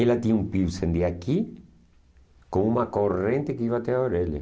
Ela tinha um piercing de aqui com uma corrente que ia até a orelha.